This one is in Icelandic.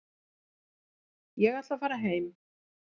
Ég ætla að fara heim.